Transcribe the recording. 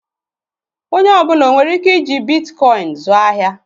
Onye ọ bụla onwere ike iji Bitikoin zụọ ahịa?